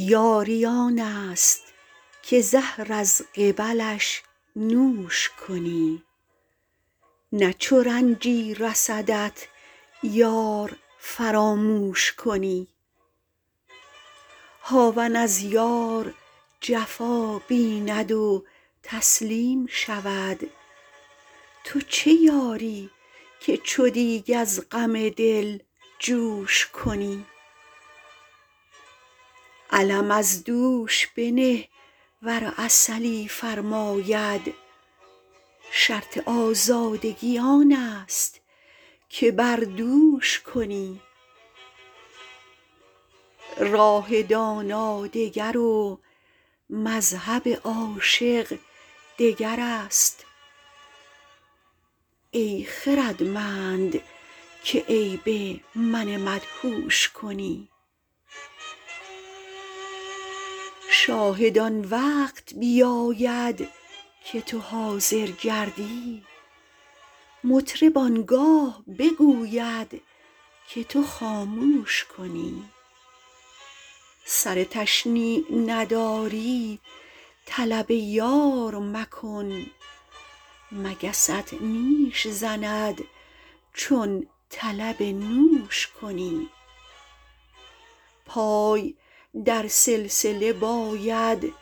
یاری آن است که زهر از قبلش نوش کنی نه چو رنجی رسدت یار فراموش کنی هاون از یار جفا بیند و تسلیم شود تو چه یاری که چو دیگ از غم دل جوش کنی علم از دوش بنه ور عسلی فرماید شرط آزادگی آن است که بر دوش کنی راه دانا دگر و مذهب عاشق دگر است ای خردمند که عیب من مدهوش کنی شاهد آن وقت بیاید که تو حاضر گردی مطرب آن گاه بگوید که تو خاموش کنی سر تشنیع نداری طلب یار مکن مگست نیش زند چون طلب نوش کنی پای در سلسله باید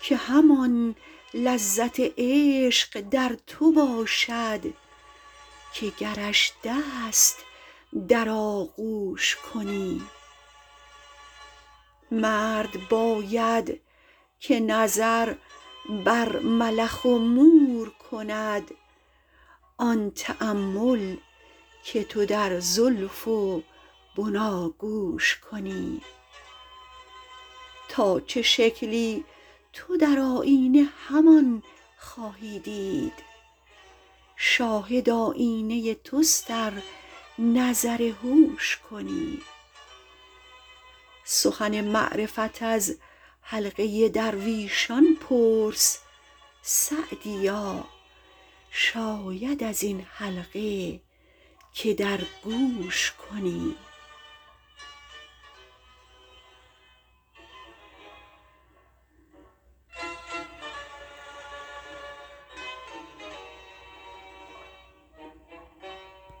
که همان لذت عشق در تو باشد که گرش دست در آغوش کنی مرد باید که نظر بر ملخ و مور کند آن تأمل که تو در زلف و بناگوش کنی تا چه شکلی تو در آیینه همان خواهی دید شاهد آیینه توست ار نظر هوش کنی سخن معرفت از حلقه درویشان پرس سعدیا شاید از این حلقه که در گوش کنی